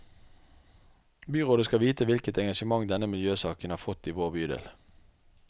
Byrådet skal vite hvilket engasjement denne miljøsaken har fått i vår bydel.